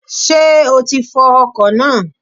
Sé o ti fọ ọkò náà?